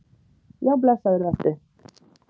Já blessaður vertu.